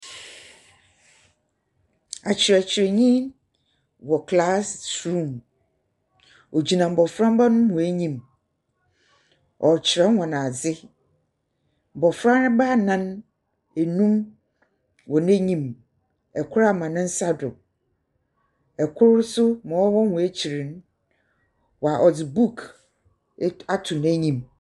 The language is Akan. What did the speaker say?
Akyerɛkyerɛnyi no wɔ classroom. Ogyina mboframba no hɔn enyim. Ɔrekyerɛ hɔn adze. Mbofra bɛyɛ anan, anum wɔ n'enyim. Kor ama ne nsa do. Kor so ma ɔwɔ hɔn akyir no, ɔdze book ato n'nyim.